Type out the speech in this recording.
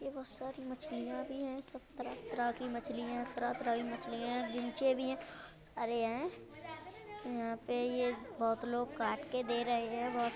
बहोत सारी मछलियां भी है सब तरह -तरह की मछलियां तरह-तरह की मछलिया हैं। गिमछे भी है अरे हैं यहाँ पे ये बहोत लोग काट के दे रहे हैं। बहोत --